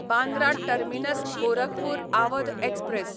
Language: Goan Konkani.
Bandra terminus Gorakhpur Awadh express